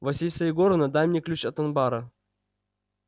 василиса егоровна дай мне ключ от анбара